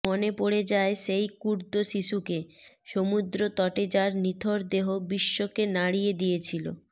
মনে পডে় যায় সেই কুর্দ শিশুকে সমুদ্র তটে যার নিথর দেহ বিশ্বকে নাড়িয়ে দিয়েছিল